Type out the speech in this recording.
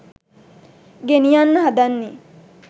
ගෙනියන්න හදන්නේ